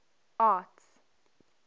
arts